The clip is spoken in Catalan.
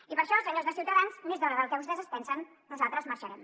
i per això senyors de ciutadans més d’hora del que vostès es pensen nosaltres marxarem